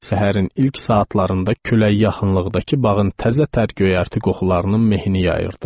Səhərin ilk saatlarında külək yaxınlıqdakı bağın təzə tər göyərti qoxularının mehini yayırdı.